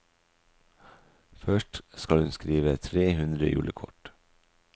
Først skal hun skrive tre hundre julekort.